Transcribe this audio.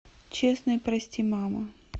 честный прости мама